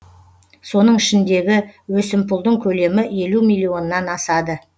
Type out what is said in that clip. соның ішіндегі өсімпұлдың көлемі елу миллионнан асады